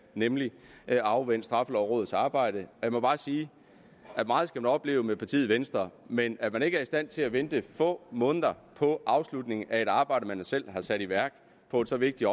nemlig at afvente straffelovrådets arbejde jeg må bare sige at meget skal vi opleve med partiet venstre men at man ikke er i stand til at vente få måneder på afslutningen af et arbejde man selv har sat i værk på så vigtigt